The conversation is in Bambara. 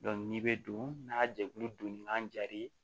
n'i bɛ don n'a jɛkulu donni kan ja re ye